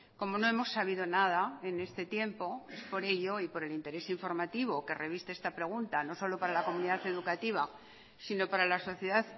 como no hemos sabido nada en este tiempo es por ello y por el interés informativo que reviste esta pregunta no solo para la comunidad educativa sino para la sociedad